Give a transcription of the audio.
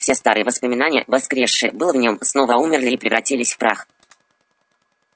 все старые воспоминания воскресшие было в нём снова умерли и превратились в прах